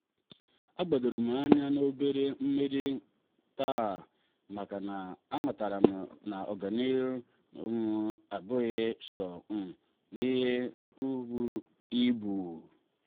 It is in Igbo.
a gbadorom anya n'obere mmeri taa makana amataram n'agamnihu um abụghị so um n'ihe buru ibu.